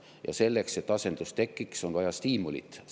Ja selleks, et asendus tekiks, on vaja stiimulit.